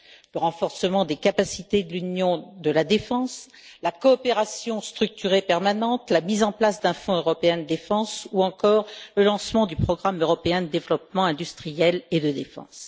le renforcement des capacités de l'Union de la défense, la coopération structurée permanente, la mise en place d'un Fonds européen de défense ou encore le lancement du programme européen de développement industriel dans le domaine de la défense.